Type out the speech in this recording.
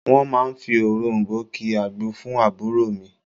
Wọ́n máa fi òròm̀bó ki agbo fún àbúrò mi